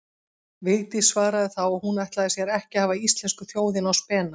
Vigdís svaraði þá að hún ætlaði sér ekki að hafa íslensku þjóðina á spena.